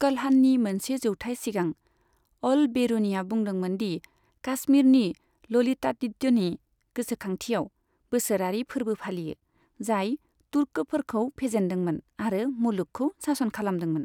कल्हाननि मोनसे जौथाइ सिगां, अल बेरूनिआ बुंदोंमोन दि काश्मीरनि ललितादित्यनि गोसोखांथियाव बोसोरारि फोर्बो फालियो, जाय तुर्कफोरखौ फेजेनदोंमोन आरो मुलुगखौ सासन खालामदोंमोन।